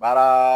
Baara